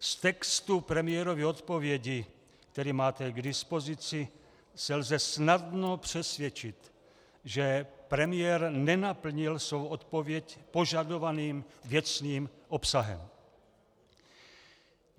Z textu premiérovy odpovědi, který máte k dispozici, se lze snadno přesvědčit, že premiér nenaplnil svou odpověď požadovaným věcným obsahem.